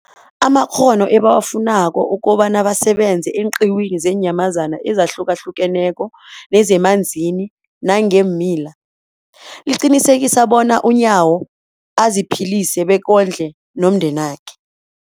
amakghono ebawafunako ukobana basebenze eenqiwini zeenyamazana ezihlukahlukeneko nezemanzini nangeemila, liqinisekisa bona uNyawo aziphilise bekondle nomndenakhe.